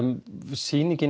sýningin